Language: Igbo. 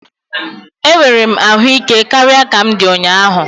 Enwere m ahụ ike karịa ka m di ụnyaahụ